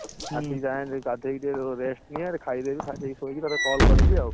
ହୁଁ ଆସିକି ଯାହେଲେ ବି ଗାଧେଇ ଟିକେ rest ନିଏ ଖାଇଦେବୀ ଖାଇଦେଇକି ଶୋଇକି ତୋତେ call କରିବି ଆଉ